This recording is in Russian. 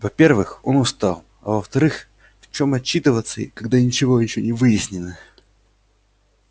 во-первых он устал а во-вторых в чём отчитываться когда ничего ещё не выяснено